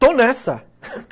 Estou nessa!